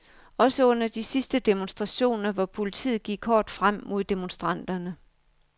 Også under de sidste demonstrationer, hvor politiet gik hårdt frem mod demonstranterne.